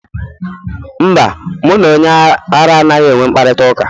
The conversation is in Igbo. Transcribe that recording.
Mba, mụ na onye ara anaghị enwe mkparịta ụka.